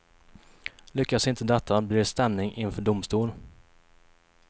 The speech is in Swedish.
Lyckas inte detta blir det stämning inför domstol.